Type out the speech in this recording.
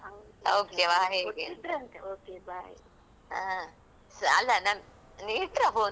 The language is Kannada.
ಹಾ ಅಲಾ ನಾನ್ ನೀವ್ ಇಟ್ತ್ರ ಫೋನ್ ಇಲ್ಲಲ್ಲ urgent ಏನ್ ಕೆಲ್ಸ ಉಂಟಾ ಇಲ್ಲಲ್ಲ?